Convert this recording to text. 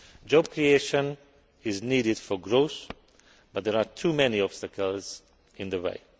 Job creation is needed for growth, but there are too many obstacles in the way.